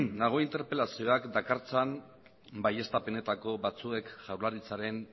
nago interpelazioak dakartzan baieztapenetako batzuek jaurlaritzaren